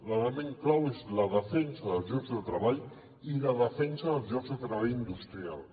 l’element clau és la defensa dels llocs de treball i la defensa dels llocs de treball industrials